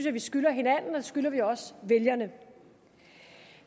at vi skylder hinanden og det skylder vi også vælgerne